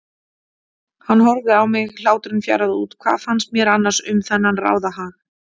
Hann horfði á mig, hláturinn fjaraði út, hvað fannst mér annars um þennan ráðahag?